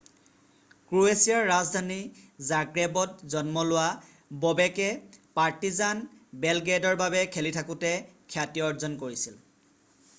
ক্ৰ'ৱেছিয়াৰ ৰাজধানী জাগ্ৰেবত জন্ম লোৱা ববেকে পাৰ্টিজান বেলগ্ৰেডৰ বাবে খেলি থাকোতে খ্যাতি অৰ্জন কৰিছিল